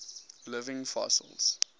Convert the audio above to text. living fossils